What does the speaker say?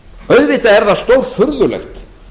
auðvitað er það stórfurðulegt